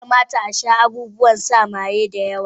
Ya kamata a sha abubuwan sa maye da yawa